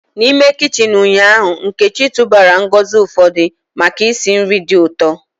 N'ime kichin ụnyaahụ, Nkechi tụbara ngozi ụfọdụ maka isi nri dị ụtọ.